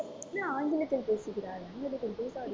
என்ன ஆங்கிலத்தில் பேசுகிறாய்? ஆங்கிலத்தில் பேசாதே